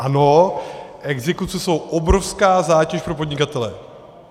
Ano, exekuce jsou obrovská zátěž pro podnikatele.